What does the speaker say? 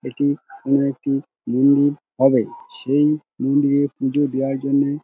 এইটি কোনো একটি মন্দির হবে সেই মন্দিরের পুজো দেওয়ার জন্য--